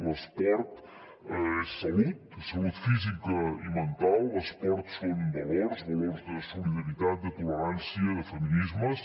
l’esport és salut salut física i mental l’esport són valors valors de solidaritat de tolerància de feminismes